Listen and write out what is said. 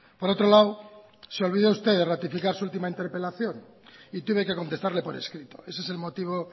por otro lado se olvida usted de ratificar su última interpelación y tiene que contestarle por escrito ese es el motivo